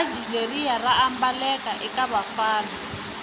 bhatji leriya raambaleka ekavafana